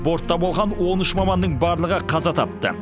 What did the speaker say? бортта болған он үш маманның барлығы қаза тапты